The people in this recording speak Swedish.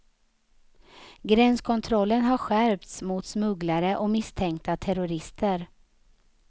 Gränskontrollen har skärpts mot smugglare och misstänkta terrorister.